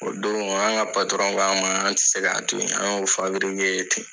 O don an ka patɔrɔn k'a ma an tɛ se k'a to yen any'o fabirike ye ten